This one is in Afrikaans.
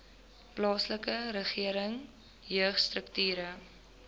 plaaslike regering jeugstrukture